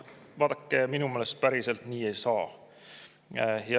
Vaadake, minu meelest päriselt nii ei saa.